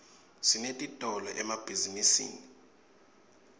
sinetitolo emabhzinisini